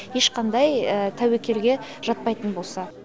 ешқандай тәуекелге жатпайтын болса